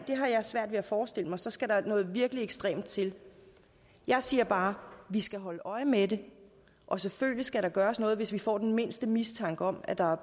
svært ved at forestille mig så skal der noget virkelig ekstremt til jeg siger bare vi skal holde øje med det og selvfølgelig skal der gøres noget hvis vi får den mindste mistanke om at der er